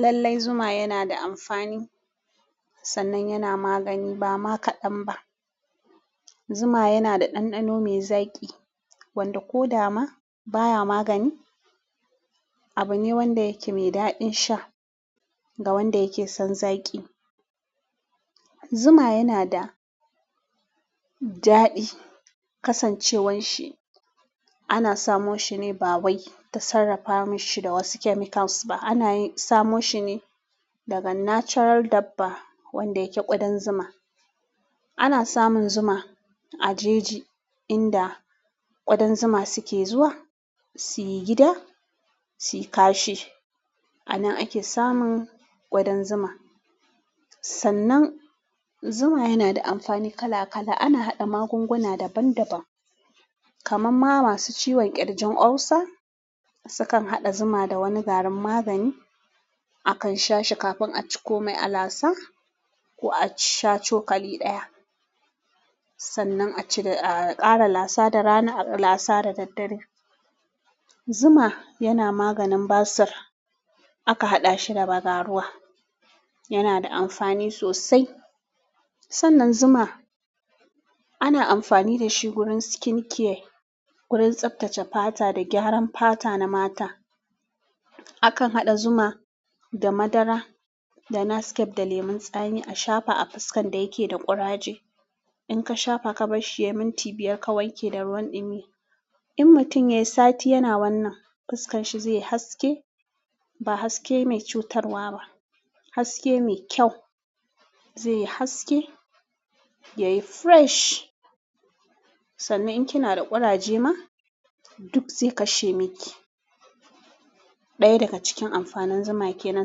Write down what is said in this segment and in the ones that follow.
Lallai zuma yana da amfani, sannan yana magani ba ma kaɗan ba. Zuma yana da ɗanɗano mai zaƙi wanda ko dama baya magani abu ne wanda yake mai daɗin sha ga wanda yake son zaƙi. Zuma yana da daɗi kasancewan shi ana samo shi ne ba wai ta sarrafa mashi da wasu chemicals ba, ana samo shi ne daga natural dabba wanda yake ƙudan zuma. Ana samun zuma a jeji inda ƙudan zuma suke zuwa su yi gida su yi kashi. A nan ake samun ƙudan zuma. Sannan zuma yana da amfani kala kala. Ana haɗa magunguna daban daban. Kamamma masu ciwon ƙirjin olsa sukan haɗa zuma da wani garin magani. Akan sha shi kafin a ci komai a lasa ko a ci sha cokali ɗaya. Sannan a cire. A ƙara lasa da rana a lasa da daddare. Zuma yana maganin basir. Aka haɗa shi da bagaruwa. Yana da amfani sosai. Sannan zuma ana amfani da shi wurin skin care, wurin tsaftace fata da gyaran fata na mata. Akan haɗa zuma da madara da nascafe da lemon tsami a shafa a fuskan da yake da ƙuraje. In ka shafa ka barshi yai minti biyar ka wanke da ruwan dumi, in mutum ya yi sati yana wannan, fuskan shi zai yi haske ba haske mai cutarwa ba, haske mai kyau. Zai yi haske, ya yi fresh. Sannan in kina da kuraje ma duk zai kashe miki. Ɗaya daga cikin amfanin zuma yake nan.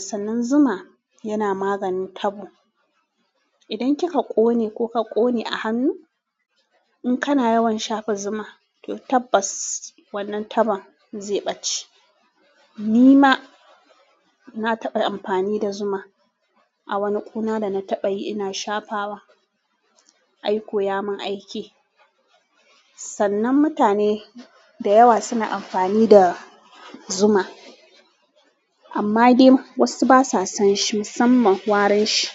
Sannan zuma yana maganin tabo. Idan ki ka ƙone ko ka ƙone a hannu, in kana yawan shafa zuma, to tabbas wannan taban zai ɓace. Ni ma na taɓa amfani da zuma a wani kuna da na taɓa yi ina shafawa. Ai koyamin aiki. Sannan mutane da yawa suna amfani da zuma amma dai wasu basa son shi musamman warin shi.